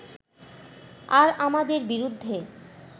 আর আমাদের বিরুদ্ধে